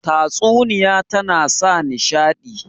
Tatsuniya tana sa nishaɗi